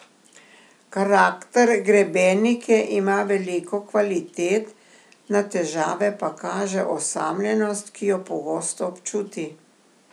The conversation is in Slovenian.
Karakter grebenike ima veliko kvalitet, na težave pa kaže osamljenost, ki jo pogosto občuti.